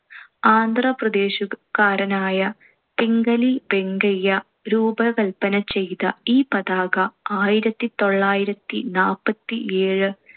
ആന്ധ്രാപ്രദേശുകാരനായ പിംഗലി വെങ്കയ്യ രൂപകൽപ്പന ചെയ്ത ഈ പതാക ആയിരത്തിത്തൊള്ളായിരത്തി നാല്പത്തിയേഴ്